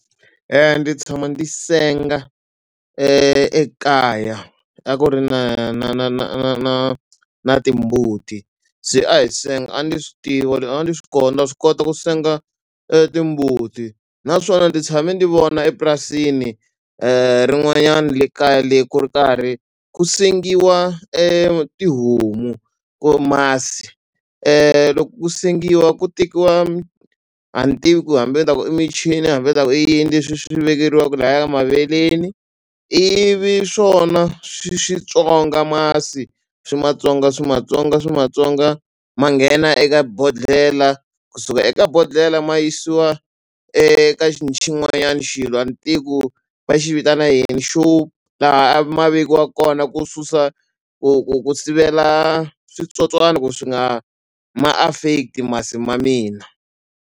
Ndzi tshama ndzi senga ekaya a ku ri na na na na na na na timbuti se a hi senga a ni swi tiva a ni swi na swi kota ku senga timbuti naswona ndzi tshame ndzi vona epurasini rin'wanyani le kaya le ku ri karhi ku sengiwa tihomu masi loko ku sengiwa ku tekiwa a ni tivi ku hambi ni ta ku i michini hambi ta ku i yini leswi swi vekeriwaku laya maveleni ivi swona swi swi tswonga masi swi ma tswonga swi ma tswonga swi ma tswonga ma nghena eka bodhlela kusuka eka bodhlela ma yisiwa eka xilo a ni tivi ku va xi vitana yini xo a ma vekiwa kona ku susa ku ku ku sivela switsotswana ku swi nga ma affect-i masi ma mina.